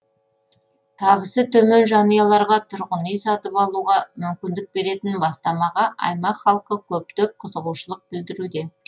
табысы төмен жанұяларға тұрғын үй сатып алуға мүмкіндік беретін бастамаға аймақ халқы көптеп қызығушылық білдіруде